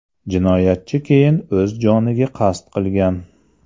Jinoyatchi keyin o‘z joniga qasd qilgan.